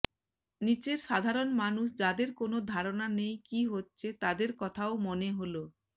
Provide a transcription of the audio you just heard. নিচের সাধারণ মানুষ যাদের কোনো ধারণা নেই কি হচ্ছে তাদের কথাও মনে হলো